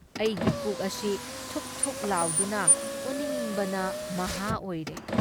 ꯑꯩꯒꯤ ꯄꯨꯛ ꯑꯁꯤ ꯊꯨꯛ ꯊꯨꯛ ꯂꯥꯎꯗꯨꯅ ꯑꯣꯅꯤꯡꯕꯅ ꯃꯍꯥ ꯑꯣꯏꯔꯦ ꯫